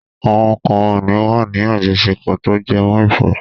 Àwọn kan ò ní wà ní àjọṣepọ̀ tó jẹmọ́ ìfẹ́.